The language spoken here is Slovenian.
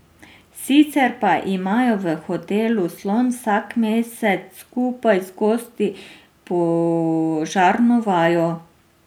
Sicer pa imajo v Hotelu Slon vsak mesec skupaj z gosti požarno vajo.